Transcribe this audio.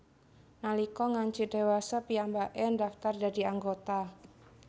Nalika ngancik dhewasa piyambaké ndaftar dadi anggota